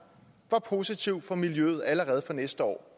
var positiv for miljøet allerede fra næste år